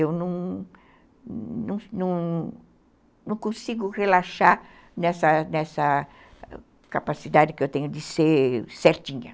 Eu não consigo relaxar nessa nessa nessa capacidade que eu tenho de ser certinha.